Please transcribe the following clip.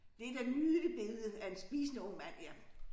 Det da nydeligt billede af en spisende ung mand ja